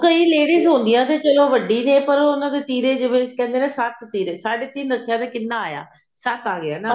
ਕਈ ladies ਤਾਂ ਚਲੋ ਹੁੰਦੀਆਂ ਵੱਡੀਆਂ ਨੇ ਪਰ ਉਹਨਾ ਦੇ ਤਿਰੇ ਆਪਾਂ ਜਿਵੇਂ ਕਹਿੰਦੇ ਨੇ ਸਾਢੇ ਤਿੰਨ ਰੱਖਿਆ ਤਾਂ ਕਿੰਨਾ ਆਇਆ ਸੱਤ ਆਇਆ ਨਾ